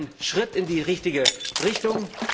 Aber es ist ein Schritt in die richtige Richtung.